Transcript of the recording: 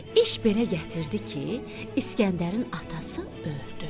İş belə gətirdi ki, İskəndərin atası öldü.